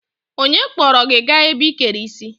Onye kpọrọ gị gaa ebe ị kere isi?